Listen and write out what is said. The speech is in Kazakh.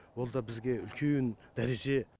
ол да бізге үлкен дәреже